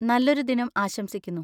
നല്ലൊരു ദിനം ആശംസിക്കുന്നു.